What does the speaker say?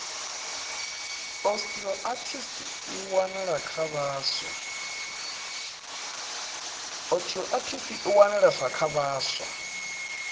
osteoarithritis i wanalesa kha vhaswa